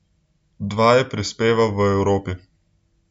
Dva je prispeval v Evropi.